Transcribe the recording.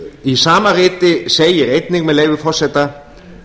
í sama riti segir einnig með leyfi forseta